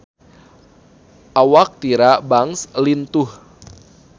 Awak Tyra Banks lintuh